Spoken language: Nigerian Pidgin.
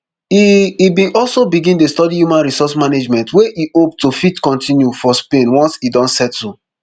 e e bin also begin dey study human resource management wey e hope to fit continue for spain once e don settle